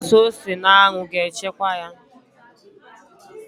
Ị gbasa ose n'anwụ ga-echekwaa ya